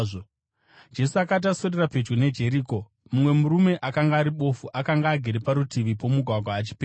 Jesu akati aswedera pedyo neJeriko, mumwe murume akanga ari bofu akanga agere parutivi pomugwagwa achipemha.